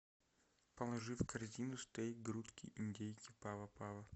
положи в корзину стейк грудки индейки пава пава